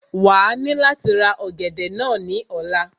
Wàá ní láti ra ọ̀gẹ̀dẹ̀ náà ní ọ̀la